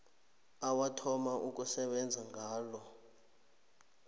owathoma ukusebenza ngalo